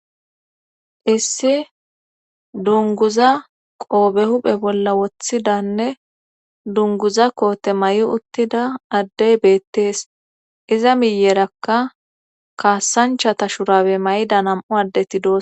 issi dunguza qoobe huphe bolla woththidanne dunguza koote may7i uttida addey beettees iza miyerakka kaassanchata shurabe mayida nam7u addeti dos